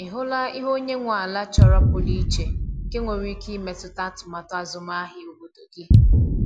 Ị hụla ihe onye nwe ala chọrọ pụrụ iche nke nwere ike imetụta atụmatụ azụmahịa obodo gị?